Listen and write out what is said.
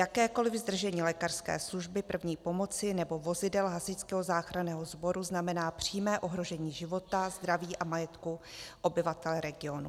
Jakékoliv zdržení lékařské služby první pomoci nebo vozidel hasičského záchranného sboru znamená přímé ohrožení života, zdraví a majetku obyvatel regionu.